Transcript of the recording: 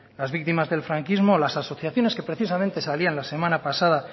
las víctimas del franquismo las asociaciones que precisamente salían la semana pasada